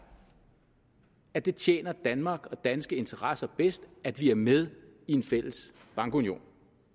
at det tjener danmark og danske interesser bedst at vi er med i en fælles bankunion